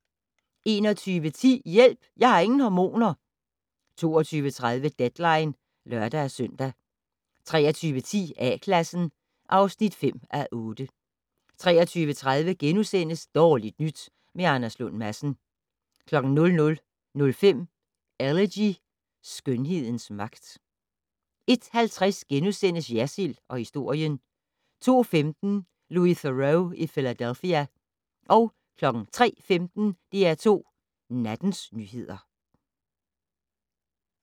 21:10: Hjælp, jeg har ingen hormoner! 22:30: Deadline (lør-søn) 23:10: A-Klassen (5:8) 23:30: Dårligt nyt med Anders Lund Madsen * 00:05: Elegy - skønhedens magt 01:50: Jersild & historien * 02:15: Louis Theroux i Philadelphia 03:15: DR2 Nattens nyheder